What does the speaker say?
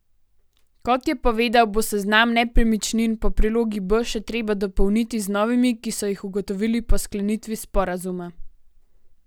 Kot je povedal, bo seznam nepremičnin po prilogi B še treba dopolniti z novimi, ki so jih ugotovili po sklenitvi sporazuma.